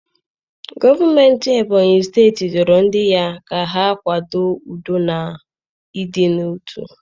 Gọọmentị Ebony steeti rịọrọ ndị ya ka ha kwado udo na ịdị n'otu